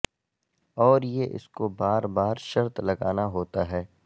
اور یہ اس کو بار بار شرط لگانا ہوتا ہے